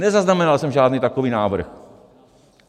Nezaznamenal jsem žádný takový návrh.